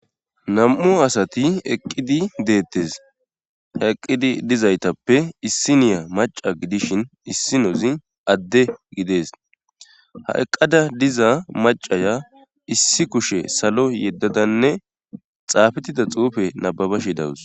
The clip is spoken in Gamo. Nam'u asati eqqidi deettes ha eqqidi dizaytappe issi niya maca gidishin issi nozi adde gidees ha eqqada diza macaya issi kushe salo yeddadanne xaafittida xuufe nababa shi dawus.